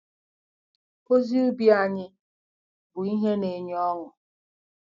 Ozi ubi anyị bụ ihe na-enye ọṅụ.